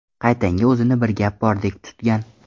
Qaytanga, o‘zini bir gap bordek tutgan.